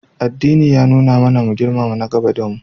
Addini ya nuna mana mu girmama nagaba da mu.